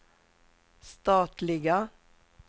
statliga